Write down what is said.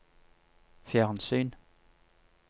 fjernsyn